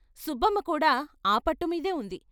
సుబ్బమ్మ కూడా ఆ పట్టుమీదే ఉంది.